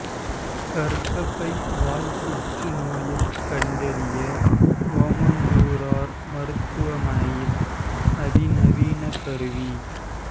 கர்ப்பப்பை வாய் புற்றுநோயைக் கண்டறிய ஓமந்தூரார் மருத்துவமனையில் அதி நவீன கருவி